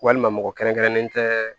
Walima mɔgɔ kɛrɛnkɛrɛnnen tɛ